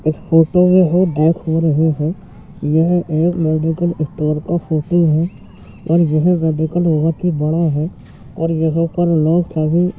इस फोटो में हम देख रहे हैं यह एक मेडिकल स्टोर का फोटो है और वह मेडिकल कि बड़ा है।